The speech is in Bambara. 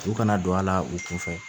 U kana don a la u kɔfɛ